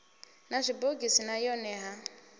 na zwibogisi na yone ha